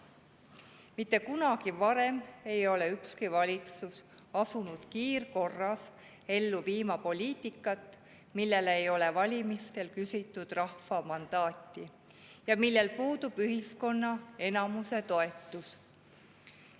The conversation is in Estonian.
Mitte kunagi varem ei ole ükski valitsus asunud kiirkorras ellu viima poliitikat, millele ei ole valimistel küsitud rahva mandaati ja millel puudub ühiskonna enamuse toetus.